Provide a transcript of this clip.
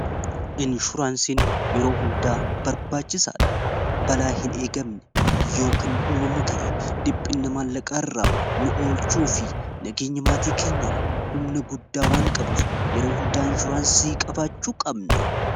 inshuraansiin yeroo hundaa barbaachisaadha balaa hin eegamne yoo kan uumamu ta'e dhiphina maallaqaa irraa nu oolchuu fi nageenyamaatii keenyaaf humna guddaa waan qabuuf yeroo hundaa inshuraansii qabaachuu qabna